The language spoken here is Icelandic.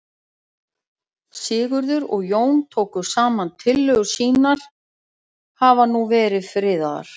Sigurður og Jón tóku saman tillögur sínar hafa nú verið friðaðar.